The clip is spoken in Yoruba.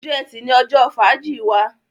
Ọjọ́ Ẹti ní ojó fàájì wá